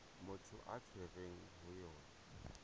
motho a tshwerweng ho yona